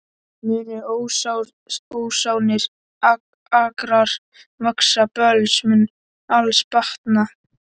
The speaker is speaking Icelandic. Munu ósánir akrar vaxa, böls mun alls batna